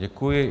Děkuji.